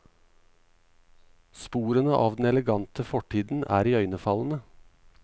Sporene av den elegante fortiden er iøynefallende.